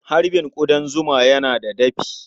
Harbin ƙudan zuma yana da dafi.